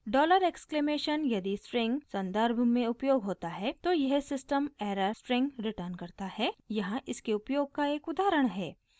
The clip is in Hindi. डॉलर एक्सक्लेमेशन यदि स्ट्रिंग सन्दर्भ में उपयोग होता है तो यह सिस्टम एरर स्ट्रिंग रिटर्न करता है यहाँ इसके उपयोग का एक उदाहरण है